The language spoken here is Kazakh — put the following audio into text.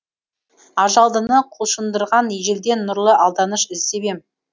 ажалдыны құлшындырған ежелден нұрлы алданыш іздеп ем